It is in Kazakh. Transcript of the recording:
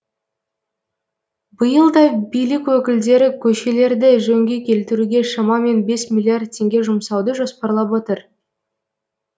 биыл да билік өкілдері көшелерді жөнге келтіруге шамамен бес миллиард теңге жұмсауды жоспарлап отыр